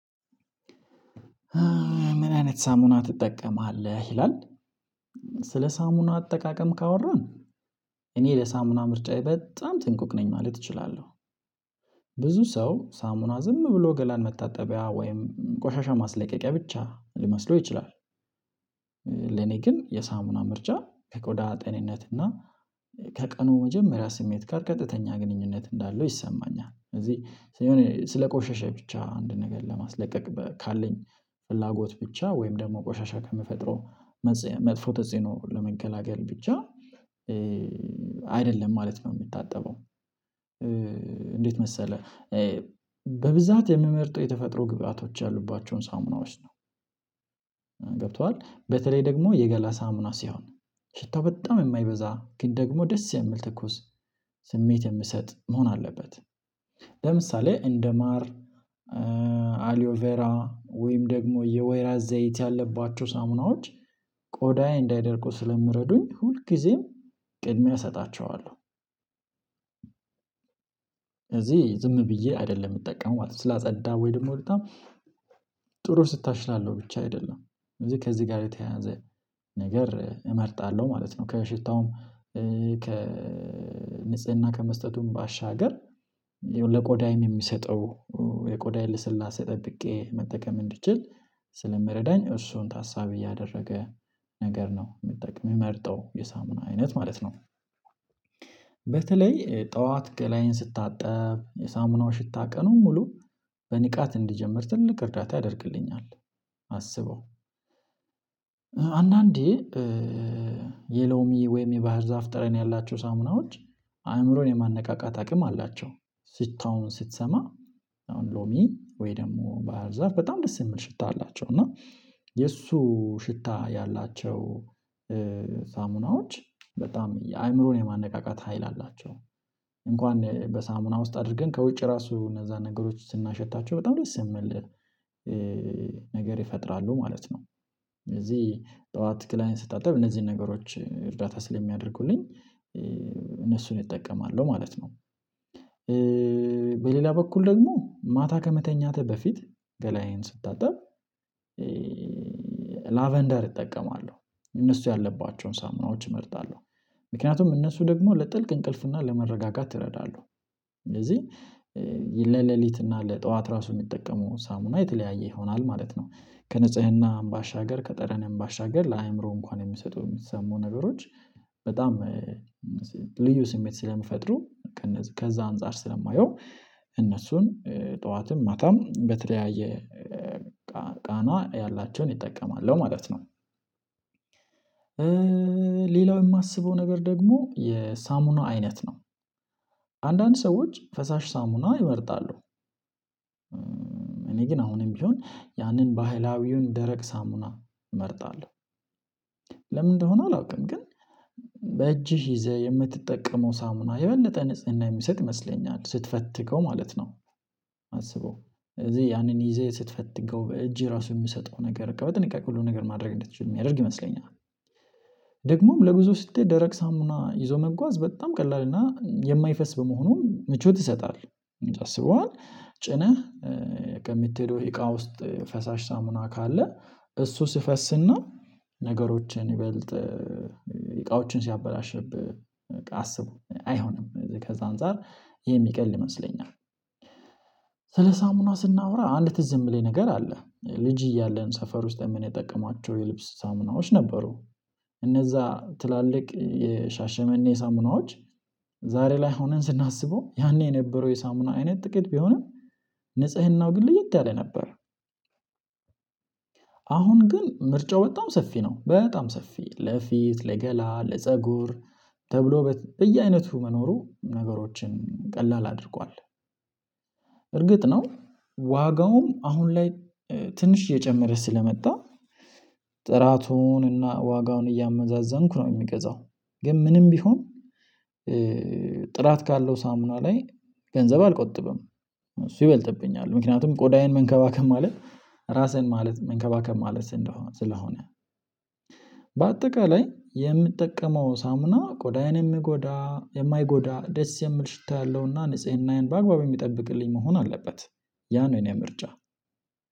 ምን አይነት ሳሙና ትጠቀማለህ? ይላል ስለ ሳሙና አጠቃቀም ካወራን እኔ ለሳሙና ምርጫዬ በጣም ጥንቁቅ ነኝ ማለት እችላለሁ። ብዙ ሰው ሳሙና ዝም ብሎ ገላን መታጠቢያ ወይም ቆሻሻ ማስለቀቂያ ብቻ ሊመስለው ይችላል ግን የሳሙና ምርጫ ከቆዳ ጤንነት እና ከቀኑ መጀመሪያ ስሜት ጋር ቀጥተኛ ግንኙነት እንዳለው ይሰማኛል ስለዚህ ስለ ቆሸሸ ብቻ አንድ ነገር ለማስለቀቅ ካለኝ ፍላጎት ብቻ ወይም ደግሞ ቆሻሻ ከምፈጥረው መጥፎ ተጽኖ ለመገላገል ብቻ አይደለም ማለት ነው የምታጠበው። እንዴት መሰለህ በብዛት የምመርጠው የተፈጥሮ ግብአቶች ያሉባቸውን ሳሙናዎች ነው። ገብቶሃል በተለይ ደግሞ የገላ ሳሙና ሲሆን ሽታው በጣም የማይበዛ ግን ደግሞ ደስ የሚል ትኩስ ስሜት የምሰጥ መሆን አለበት። ለምሳሌ እንደ ማር አሊዮቬራ ወይም ደግሞ የወይራ ዘይት ያለባቸው ሳሙናዎች ቆዳዬ እንዳይደርቁ ስለምረዱኝ ሁልጊዜም ቅድሚያ እሰጣቸዋለሁ። ስለዚህ ዝም ብዬ አይደለም የምጠቀመው ማለት ነው ስላጸዳ ወይ ደግሞ በጣም ጥሩ ሽታ ስላለሁ ብቻ አይደለም ስለዚህ ከዚህ ጋር የተያያዘ ነገር እመርጣለሁ ማለት ነው ከሽታውም ከንጽህና ከመስጠቱም ባሻገር ለቆዳዬም የሚሰጠው የቆዳዬን ልስላሴ ጠብቄ መጠቀም እንድችል ስለሚረዳኝ እሱን ታሳቢ ያደረገ ነገር ነው መጠቀም የምርጠው የሳሙና አይነት ማለት ነው። በተለይ ጠዋት ገላየን ስታጠብ የሳሙናው ሽታ ቀኑን ሙሉ በንቃት እንዲጀምር ትልቅ እርዳታ ያደርግልኛል። አስበው አንዳንዴ የሎሚ ወይም የባህር ዛፍ ጠረን ያላቸው ሳሙናዎች አእምሮን የማነቃቃት አቅም አላቸው ሽታውም ስትሰማ አሁን ሎሚ ወይ ደግሞ ባህር ዛፍ በጣም ደስ የሚል ሽታ አላቸው እና የእሱ ሽታ ያላቸው ሳሙናዎች በጣም አእምሮን የማነቃቃት ሀይል አላቸው እንኳን በሳሙና ውስጥ አድርገን ከውጭ ራሱ እነዛን ነገሮች ስናሸታቸው በጣም ደስ የሚል ነገር ይፈጥራሉ ማለት ነው። ስለዚህ ጠዋት ገላየን ስታጠብ እነዚህን ነገሮች እርዳታ ስለሚያደርጉልኝ እነሱን እጠቀማለሁ ማለት ነው። በሌላ በኩል ደግሞ ማታ ከመተኛትህ በፊት ገላዬን ስታጠብ ላቨንደር ይጠቀማሉ እነሱ ያለባቸውን ሳምናዎች እመርጣለሁ ምክንያቱም እነሱ ደግሞ ለጥልቅ እንቅልፍና ለመረጋጋት ይረዳሉ ስለዚህ ለሌሊት እና ለጠዋት ራሱ የሚጠቀመው ሳሙና የተለያየ ይሆናል ማለት ነው። ከንጽህናም ባሻገር ከጠረንም ባሻገር ለአእምሮ እንኳን የምትሰጡ የሚሰሙን ነገሮች በጣም ልዩ ስሜት ስለምፈጥሩ ከነዛ ከዛ አንፃር ስለማየው እነሱን ጠዋትም ማታም በተለያየ ቃና ያላቸውን ይጠቀማል ማለት ነው። ሌላው የማስበው ነገር ደግሞ የሳሙና አይነት ነው አንዳንድ ሰዎች ፈሳሽ ሳሙና ይመርጣሉ። እኔ ግን አሁንም ቢሆን ያንን ባህላዊውን ደረቅ ሳሙና እመርጣለሁ። ለምን እንደሆነ አላውቅም ግን በእጅህ ይዘህ የምትጠቀመው ሳሙና የበለጠ ንጽህና የሚሰጥ ይመስለኛል ስትፈትገው ማለት ነው። አስበው ስለዚህ ያንን ይዘህ ስትፈትገው በእግህ ራሱ የሚሰጠው ነገር በትንቃቄ ሁሉ ነገር ማድረግ እንድትችል የሚያደርግ ይመስለኛል። ደግሞም ለጉዞ ስትሄድ ደረቅ ሳሙና ይዞ መጓዝ በጣም ቀላል እና የማይፈስ በመሆኑ ምቾት ይሰጣል አስበዋል ጭነህ ከምትሄደው እቃ ውስጥ ፈሳሽ ሳሙና ካለ እሱ ሲፈስና ነገሮችን ይበልጥ እቃዎችን ሲያበላሽብህ በቃ አስብ አይሆንም ከዛ አንፃር ይሄ የሚቀል ይመስለኛል። ስለ ሳሙና ስናወራ አንድ ትዝ የሚለኝ ነገር አለ ልጅ እያለን ሰፈር ውስጥ ምን የምንጠቀማቸው የልብስ ሳምናዎች ነበሩ እነዛ ትላልቅ የሻሸመኔ ሳምናዎች ዛሬ ላይ ሆነን ስናስበው ያኔ የነበረው የሳምና አይነት ጥቂት ቢሆንም ንጽህናው ግን ለየት ያለ ነበር። አሁን ግን ምርጫው በጣም ሰፊ ነው በጣም ሰፊ ለፊት ለገላ ለፀጉር ተብሎ በየአይነቱ መኖሩ ነገሮችን ቀላል አድርጓል። እርግጥ ነው ዋጋውም አሁን ላይ ትንሽ እየጨመረ ስለመጣ ጥራቱንና ዋጋውን እያመዛዘንኩ ነው የሚገዛው ግን ምንም ቢሆን ጥራት ካለው ሳሙና ላይ ገንዘብ አልቆጥብም እሱ ይበልጥብኛል ምክንያቱም ቆዳዬን መንከባከብ ማለት ራስህን ማለት መንከባከብ ማለት ስለሆነ በአጠቃላይ የምጠቀመው ሳምና ቆዳዬን የሚጎዳ የማይጎዳ ደስ የሚል ሽታ ያለውና ንጽህናዬን በአግባቡ የሚጠብቅልኝ መሆን አለበት። ያ ነው የኔ ምርጫ።